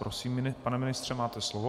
Prosím, pane ministře, máte slovo.